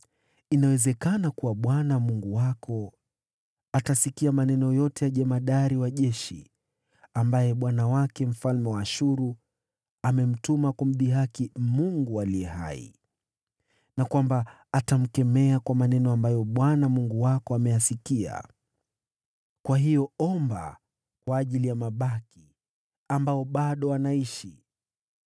Yamkini Bwana , Mungu wako atayasikia maneno ya jemadari wa jeshi, ambaye bwana wake, mfalme wa Ashuru, amemtuma kumdhihaki Mungu aliye hai, tena kwamba atamkemea kwa maneno ambayo Bwana , Mungu wako ameyasikia. Kwa hiyo omba kwa ajili ya mabaki ambao bado wako.”